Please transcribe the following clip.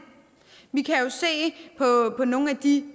vi kan jo se på nogle af de